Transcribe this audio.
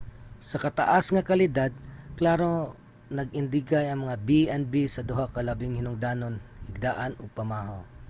sa taas nga kalidad klaro nga nag-indigay ang mga b&b sa duha ka labing hinungdanon: higdaan ug pamahaw